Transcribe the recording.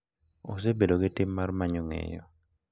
Osebedo gi tim mar manyo ng’eyo